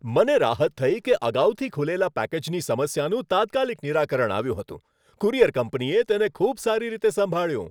મને રાહત થઈ કે અગાઉથી ખુલેલા પેકેજની સમસ્યાનું તાત્કાલિક નિરાકરણ આવ્યું હતું. કુરિયર કંપનીએ તેને ખૂબ સારી રીતે સંભાળ્યું.